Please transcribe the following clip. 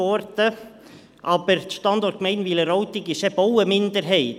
Aber, die Standortgemeinde Wileroltigen ist eben auch eine Minderheit.